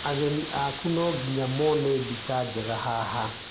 Ageni aku no nginya mone mbica njega haha.